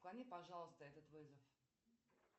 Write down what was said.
отклони пожалуйста этот вызов